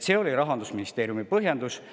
See oli Rahandusministeeriumi põhjendus.